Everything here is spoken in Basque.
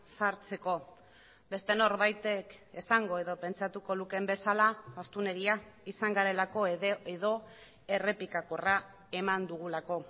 sartzeko beste norbaitek esango edo pentsatuko lukeen bezala astunegia izan garelako edo errepikakorra eman dugulako